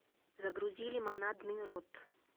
загрузи лимонадный рот